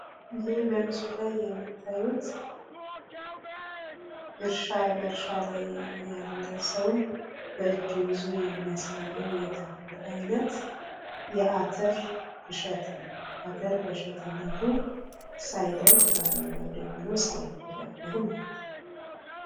ይህ በምስሉ ላይ የምታዩት በእርሻ ላይ ያለ ሰው በእጁ ይዞ የሚያሳየው የተክል አይነት እሸት አተር በእሸትነቱ ሳይደርቅ በአረንጓዴነቱ ሳይፈለፈል ማለት ነው ።